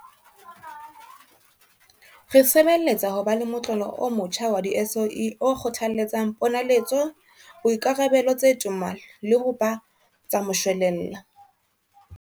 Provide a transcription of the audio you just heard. Re sebeletsa ho ba le motlolo o motjha wa di-SOE o kgothaletsang ponaletso, boikarabelo tse toma le ho ba tsa moshwelella.